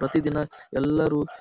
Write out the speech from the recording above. ಪ್ರತಿದಿನ ಎಲ್ಲರೂ--